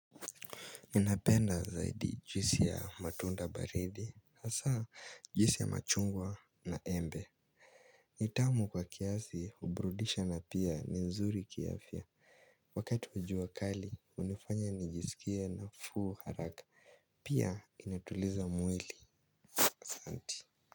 Napenda zaidi juisi ya matunda baridi hasa juisi ya machungwa na embe ni tamu kwa kiasi huburudisha na pia ni mzuri kiafya wakati wa jua kali hunifanya nijiskie nafuu haraka pia inatuliza mwili asante.